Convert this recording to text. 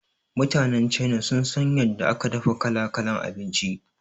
Mutanan Chaina sun san yadda aka dafa kala-kalan abinci